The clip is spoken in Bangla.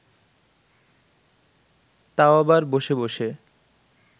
তাও আবার বসে বসে